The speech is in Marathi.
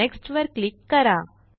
नेक्स्ट वर क्लिक करा